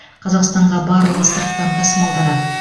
қазақстанға барлығы сырттан тасымалданады